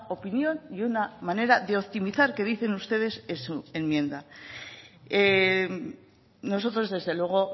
opinión y una manera de optimizar que dicen ustedes en su enmienda nosotros desde luego